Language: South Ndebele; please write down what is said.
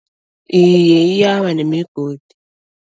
Iye, iyaba nemigodi.